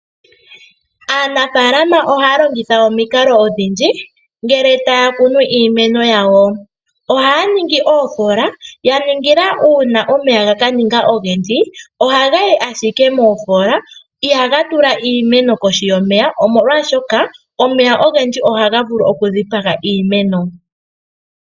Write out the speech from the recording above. Aanafalama ohaya longitha omikalo odhindji ngele taya kunu iimeno yawo. Ohaya ningi oofola yaningila una omeya gaka ninga ogendji ohaga yi ashike moofola ihaga tula iimeno kohi yomeya, omolwashoka omeya ogendji ohaga vulu oku dhipaga iimeno.